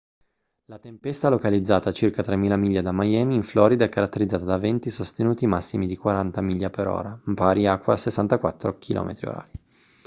la tempesta localizzata a circa 3.000 miglia da miami in florida è caratterizzata da venti sostenuti massimi di 40 mph pari a 64 km/h